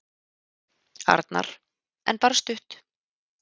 Arnar: En bara stutt.